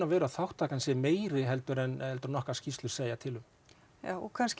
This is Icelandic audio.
að þátttakan sé meiri heldur en heldur en okkar skýrslur segja til um já og kannski